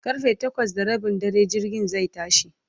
karfe takwas da Rabin dare jirgin zai tashi